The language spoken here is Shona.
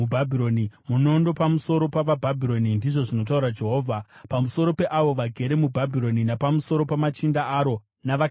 “Munondo pamusoro pavaBhabhironi!” ndizvo zvinotaura Jehovha, “pamusoro peavo vagere muBhabhironi, napamusoro pamachinda aro navakachenjera varo!